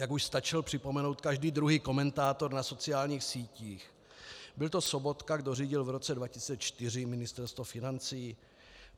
Jak už stačil připomenout každý druhý komentátor na sociálních sítích, byl to Sobotka, kdo řídil v roce 2004 Ministerstvo financí.